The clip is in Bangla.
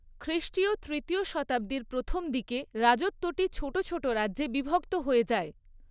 খ্রিষ্টীয় তৃতীয় শতাব্দীর প্রথম দিকে রাজত্বটি ছোট ছোট রাজ্যে বিভক্ত হয়ে যায়।